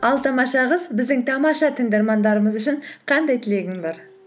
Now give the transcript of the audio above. ал тамаша қыз біздің тамаша тыңдармандарымыз үшін қандай тілегің бар